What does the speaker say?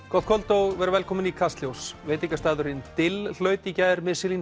gott kvöld og verið velkomin í Kastljós veitingastaðurinn dill hlaut í gær